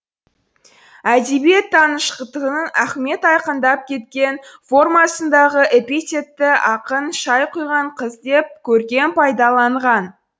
әдебиеттанытқыштың ахмет айқындап кеткен формасындағы эпитетті ақын шай құйған қыз деп көркем пайдаланған